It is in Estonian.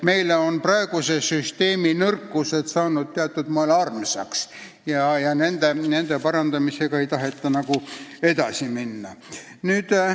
Meile on kehtiva süsteemi nõrkused justkui armsaks saanud ja nende parandamisega ei taheta eriti edasi minna.